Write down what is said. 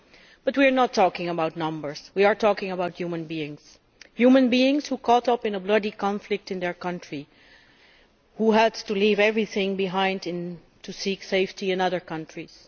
But we are not talking about numbers we are talking about human beings human beings caught up in a bloody conflict in their country, who had to leave everything behind in order to seek safety in other countries.